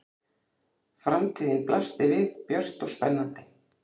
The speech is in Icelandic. Framtíðin blasti við björt og spennandi.